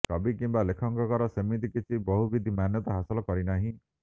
କବି କିମ୍ୱା ଲେଖକର ସେମିତି କିଛି ବହୁବିଧ ମାନ୍ୟତା ହାସଲ କରିନାହିଁ